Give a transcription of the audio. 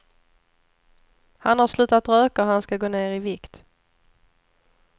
Han har slutat röka och han ska gå ner i vikt.